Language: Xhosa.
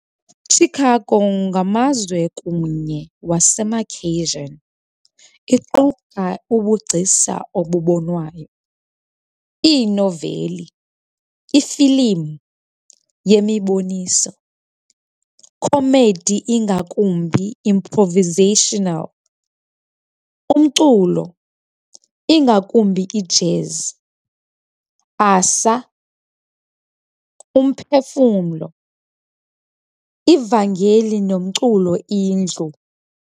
Chicago ngamazwe kunye wasemakhiyshini iquka ubugcisa obubonwayo, iinoveli, ifilim, yemiboniso, comedy ingakumbi improvisational, umculo, ingakumbi ijazz, asa, umphefumlo, ivangeli nomculo indlu.